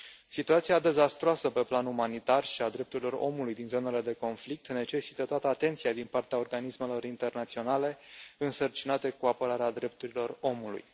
Situația dezastruoasă pe plan umanitar și a drepturilor omului din zonele de conflict necesită toată atenția din partea organismelor internaționale însărcinate cu apărarea drepturilor omului.